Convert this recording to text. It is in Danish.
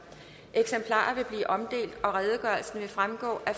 eksemplarer vil blive omdelt og redegørelsen vil fremgå af